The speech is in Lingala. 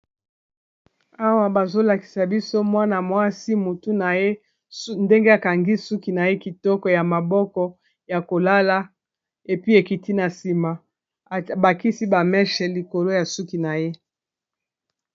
Awa bazolakisa biso mwana-mwasi motu na ye ndenge akangi suki na ye, kitoko ya maboko ya kolala epi ekiti na nsima abakisi bameshe likolo ya suki na ye.